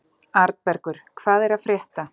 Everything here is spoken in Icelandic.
Arnbergur, hvað er að frétta?